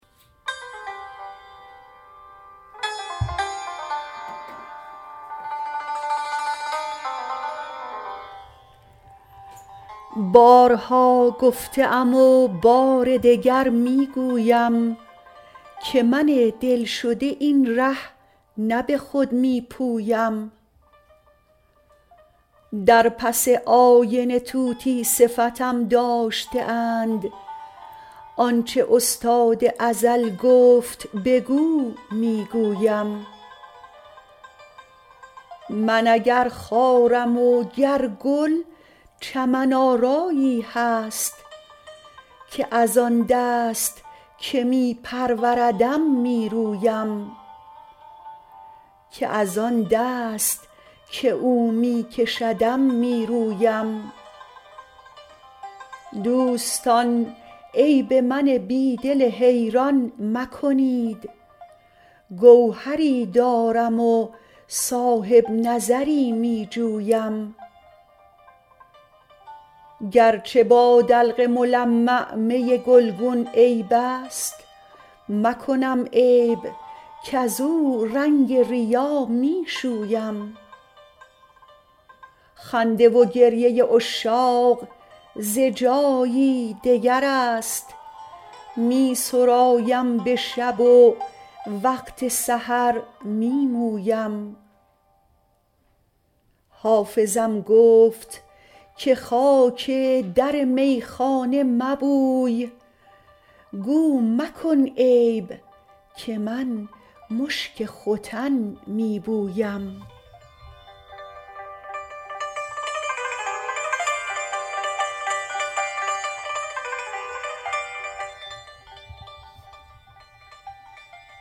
بارها گفته ام و بار دگر می گویم که من دل شده این ره نه به خود می پویم در پس آینه طوطی صفتم داشته اند آن چه استاد ازل گفت بگو می گویم من اگر خارم و گر گل چمن آرایی هست که از آن دست که او می کشدم می رویم دوستان عیب من بی دل حیران مکنید گوهری دارم و صاحب نظری می جویم گر چه با دلق ملمع می گلگون عیب است مکنم عیب کزو رنگ ریا می شویم خنده و گریه عشاق ز جایی دگر است می سرایم به شب و وقت سحر می مویم حافظم گفت که خاک در میخانه مبوی گو مکن عیب که من مشک ختن می بویم